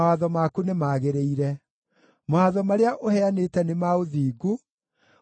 Mawatho marĩa ũheanĩte nĩ ma ũthingu; nĩ ma kwĩhokwo kũna.